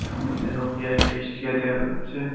আমাদের নোকিয়ার একটা ইস্টিকার দেয়া যাচ্ছে।